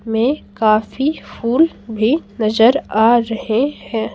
में काफी फूल भी नजर आ रहे हैं।